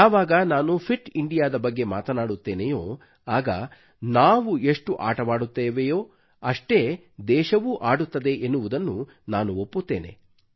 ಯಾವಾಗ ನಾನು ಫಿಟ್ ಇಂಡಿಯಾದ ಬಗ್ಗೆ ಮಾತನಾಡುತ್ತೇನೆಯೋ ಆಗ ನಾವು ಎಷ್ಟು ಆಟವಾಡುತ್ತೇವೆಯೋ ಅಷ್ಟೇ ದೇಶವೂ ಆಡುತ್ತದೆ ಎನ್ನುವುದನ್ನು ನಾನು ಒಪ್ಪುತ್ತೇನೆ